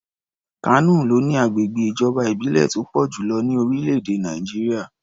Kano ló ní agbègbè ìjọba ìbílẹ̀ tó pọ̀ jù lọ ní orílẹ̀-èdè Nàìjíríà.